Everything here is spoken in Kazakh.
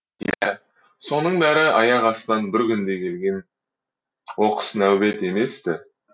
иә соның бәрі аяқ астынан бір күнде келген оқыс нәубет емес ті